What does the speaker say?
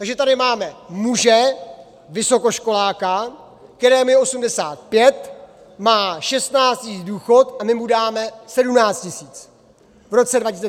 Takže tady máme muže vysokoškoláka, kterému je 85, má 16 tisíc důchod a my mu dáme 17 tisíc v roce 2020, nebo už ho má.